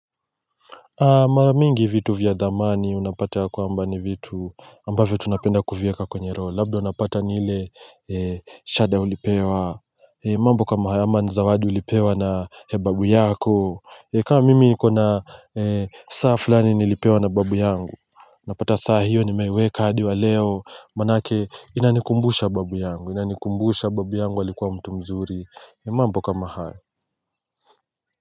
Mara mingi vitu vya thamani unapata ya kwamba ni vitu ambavyo tunapenda kuvieka kwenye roho. Labda unapata ni ile shada ulipewa. Mambo kama haya ama ni zawadi ulipewa na babu yako. Kama mimi nikona saa fulani nilipewa na babu yangu. Napata saa hiyo nimeweka adi wa leo. Manake inanikumbusha babu yangu. Inanikumbusha babu yangu alikuwa mtu mzuri. Mambo kama haya.